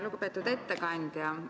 Lugupeetud ettekandja!